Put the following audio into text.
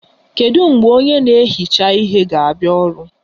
Kedu mgbe onye na-ehicha ihe ga-abịa ọrụ?